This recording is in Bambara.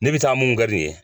Ne bɛ taa mun kari ye